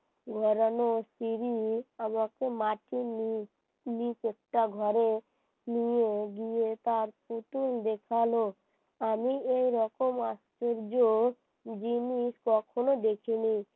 ধরানো সিঁড়ি আমাকে মাটির নিচ একটা ঘরে নিয়ে গিয়ে তার পুতুল দেখালো আমি এইরকম আশ্চর্য জিনিস কখনো দেখিনি